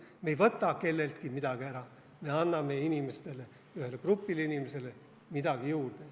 Me ei võta kelleltki midagi ära, me anname inimestele, ühele grupile inimestele midagi juurde.